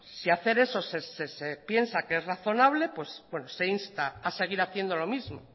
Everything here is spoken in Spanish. si hacer eso se piensa que es razonable pues se insta a seguir haciendo lo mismo